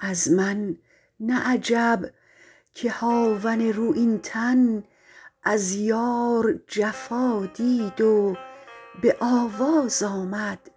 از من نه عجب که هاون رویین تن از یار جفا دید و به آواز آمد